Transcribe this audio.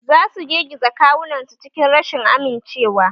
Za su girgiza kawunansu cikin rashin amincewa